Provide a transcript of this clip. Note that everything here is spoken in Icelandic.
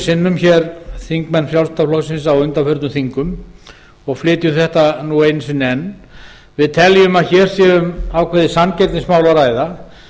sinnum á undanförnum þingum og flytjum þetta nú einu sinni enn við teljum að hér sé um ákveðið samkeppnismál að ræða